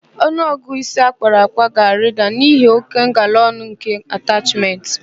Ọnụọgụ ịsi akpara akpa ga-arịda n'ihi óké ngalaọnụ nke atachmentị.